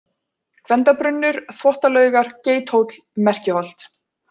Gvendarbrunnur, Þvottalaugar, Geithóll, Merkiholt